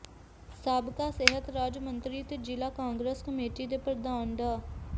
ਸਾਬਕਾ ਸਿਹਤ ਰਾਜ ਮੰਤਰੀ ਤੇ ਜ਼ਿਲਾ ਕਾਂਗਰਸ ਕਮੇਟੀ ਦੇ ਪ੍ਰਧਾਨ ਡਾ